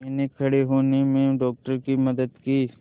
मैंने खड़े होने में डॉक्टर की मदद की